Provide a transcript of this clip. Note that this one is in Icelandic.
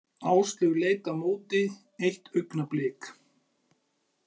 Áslaug leit á móti eitt augnablik.